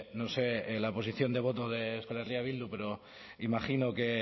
no sé la posición de voto de euskal herria bildu pero imagino que